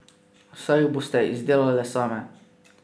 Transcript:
Saj jih boste izdelale same.